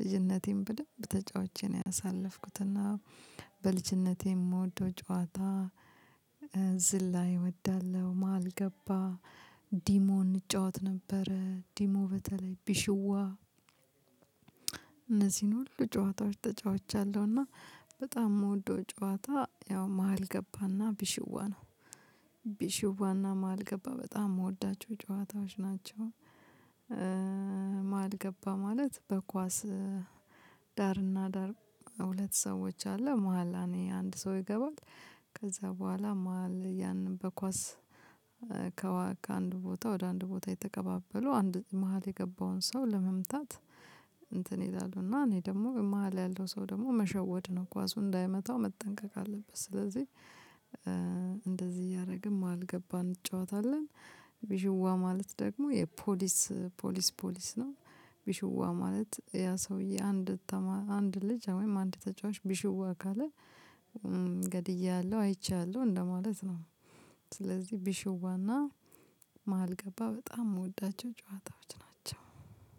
ልጅነቴን በደንብ ተጫውቼ ነው ያሳለፍኩት እና በልጅነቴ የምወደው ጨዋታ ዝላይ እወዳለሁ፤ መሃል ገባ ፥ዲሞ እንጫወት ነበረ። ዲሞ በተለይ ቢሽዋ እነዚህን ሁሉ ጨዋታዎች ተጫውቻለሁና በጣም የምወደው ጨዋታ ያው መሃል ገባና ቢሽዋ ነው፤ ቢሽዋና መሃል ገባ በጣም የምወዳቸው ጫዋታዎች ናቸው። መሃል ገባ ማለት በኳስ ዳርና ዳር ሁለት ሰዎች አሉ መሃል አኔ አንድ ሰው ይገባል። ከዛ በኋላ መሃል ያንን በኳስ ከአንድ ቦታ ወደ አንድ ቦታ የተቀባበሉ አንድ መሃል የገባውን ሰው ለመምታት እንትን ይላሉና እኔ ደግሞ መሃል ያለው ሰው ደግሞ መሸወድ ነው። ኳሱ እንዳይመታው መጠንቀቅ አለበት። ስለዚህ እንደዚህ እያረግን መሃል ገባ እንጫወታለን። ቢሹዋ ማለት ደግሞ የፖሊስ ፖሊስ ፖሊስ ነው። ቢሽዋ ማለት ያ ሰውዬ አንድ አንድ ልጅ ወይም አንድ ተጫዋች ቢሽዋ ካለ ገድያለሁ፥ አይቻለሁ እንደማለት ነው። ስለዚህ ቢሸዋና መሃል ገባ በጣም የምወዳቸው ጫዋታዎች ናቸው።